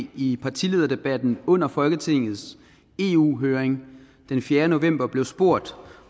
i partilederdebatten under folketingets eu høring den fjerde november blev spurgt